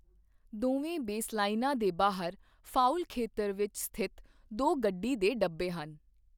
ਦੋਵੇਂ ਬੇਸਲਾਈਨਾਂ ਦੇ ਬਾਹਰ ਫਾਉਲ ਖੇਤਰ ਵਿੱਚ ਸਥਿਤ ਦੋ ਗੱਡੀ ਦੇ ਡੱਬੇ ਹਨ।